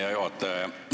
Hea juhataja!